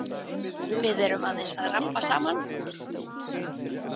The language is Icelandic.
Við erum aðeins að rabba saman.